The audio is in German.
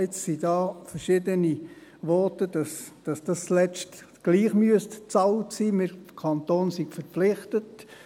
Jetzt gab es da verschiedene Voten, wonach das zuletzt trotzdem bezahlt sein müsste, der Kanton sei verpflichtet.